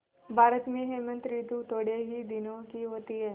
भारत में हेमंत ॠतु थोड़े ही दिनों की होती है